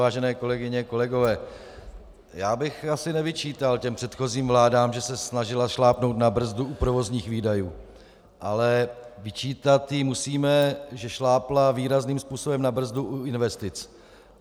Vážené kolegyně, kolegové, já bych asi nevyčítal té předchozí vládě, že se snažila šlápnout na brzdu u provozních výdajů, ale vyčítat jí musíme, že šlápla výrazným způsobem na brzdu u investic.